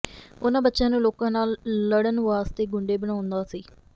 ਉਨ੍ਹਾਂ ਬੱਚਿਆਂ ਨੂੰ ਲੋਕਾਂ ਨਾਲ ਲੜਨ ਵਾਲੇ ਗੁੰਢੇ ਬਣਾਉਂਦਾ ਸੀ